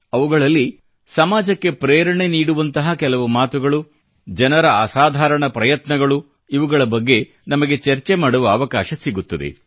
ಅವುಗಳಲ್ಲಿ ಸಮಾಜಕ್ಕೆ ಪ್ರೇರಣೆ ನೀಡುವಂತಹ ಕೆಲವು ಮಾತುಗಳು ಜನರ ಅಸಾಧಾರಣ ಪ್ರಯತ್ನಗಳು ಇವುಗಳ ಬಗ್ಗೆ ನಮಗೆ ಚರ್ಚೆ ಮಾಡುವ ಅವಕಾಶ ಸಿಗುತ್ತದೆ